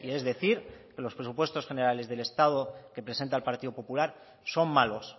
es decir que los presupuestos generales del estado que presenta el partido popular son malos